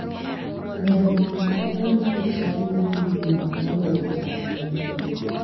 Ber mondo idonj e chadi madhi nyime moloyo chako manyien.